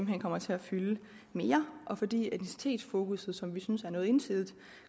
hen kommer til at fylde mere og fordi etnicitetsfokusset som vi synes var noget ensidigt